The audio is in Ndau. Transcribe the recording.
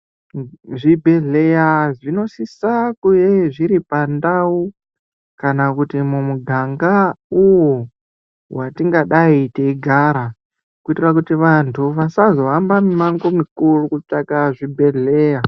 Zvibhedhlera zvinosisa kuve zviripandao kana kuti mumuganga uwo watingadai tichigara kuitira kuti vantu vasazohamba mumango mukuru kutsvaka zvibhedhlera.